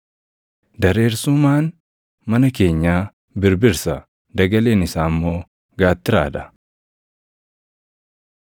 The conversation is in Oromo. Dareersumaan mana keenyaa birbirsa; dagaleen isaa immoo gaattiraa dha.